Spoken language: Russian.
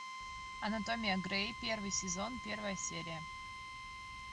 анатомия грей первый сезон первая серия